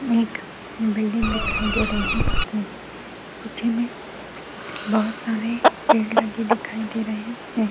एक बिल्डिंग दिखाई दे रही है पीछे में बहोत सारे पेड़ लगे दिखाई दे रहे हैं।